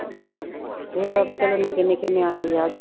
ਨਿੱਕੇ ਨਿੱਕੇ ਨਿਆਣੇ ਵਿਆਹ ਗਈ